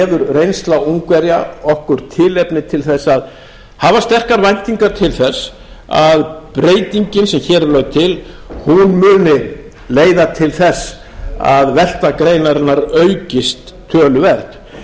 reynsla ungverja okkur tilefni til þess að hafa sterkar væntingar til þess að breytingin sem hér er lögð til muni leiða til þess að velta greinarinnar aukist töluvert ég er